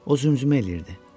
O zümzümə eləyirdi.